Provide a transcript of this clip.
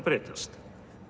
breytast